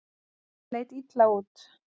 Þetta leit illa út.